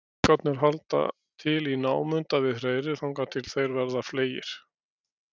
Ungarnir halda til í námunda við hreiðrið þangað til þeir verða fleygir.